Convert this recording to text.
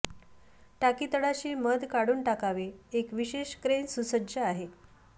टाकी तळाशी मध काढून टाकावे एक विशेष क्रेन सुसज्ज आहे